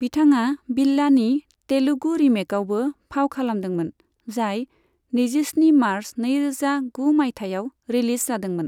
बिथाङा बिल्लानि तेलुगु रिमेकआवबो फाव खालामदोंमोन, जाय नैजिस्नि मार्च नैरोजा गु माइथायाव रिलिज जादोंमोन।